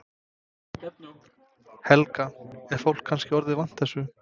Helga: Er fólk kannski orðið vant þessu?